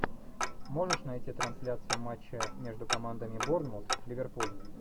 можешь найти трансляцию матча между командами борнмут ливерпуль